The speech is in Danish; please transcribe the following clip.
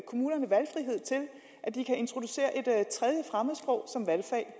kommunerne valgfrihed til at de kan introducere et tredje fremmedsprog som valgfag